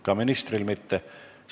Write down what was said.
Ka ministril mitte?